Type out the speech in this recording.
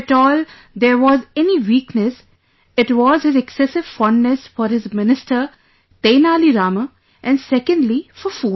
If at all there was any weakness, it was his excessive fondness for his minister Tenali Rama and secondly for food